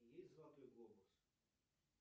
есть золотой глобус